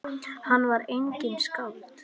Hann var einnig skáld.